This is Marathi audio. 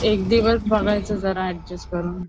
एक दिवस बघायचं जरा अड्जस्ट करून.